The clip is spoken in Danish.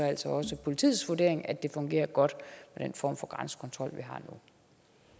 altså også politiets vurdering at det fungerer godt med den form for grænsekontrol